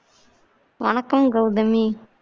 வணக்கம் கவுதமி